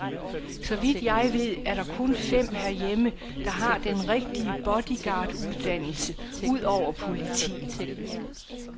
Så vidt jeg ved, er der kun fem herhjemme, der har den rigtige bodyguarduddannelse, udover politiet.